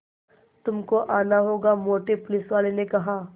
तुमको आना होगा मोटे पुलिसवाले ने कहा